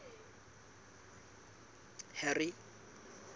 harry